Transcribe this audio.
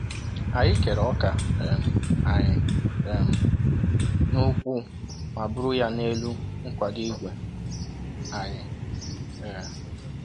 Anyị kere ọka um anyị um n'ụkwụ ma buru ya n'elu nkwado igwe anyị. um